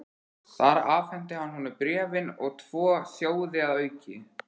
Þar afhenti hann honum bréfin og tvo sjóði að auki.